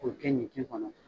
O de kɛ ɲi ji kɔnɔ.